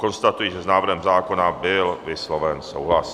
Konstatuji, že s návrhem zákona byl vysloven souhlas.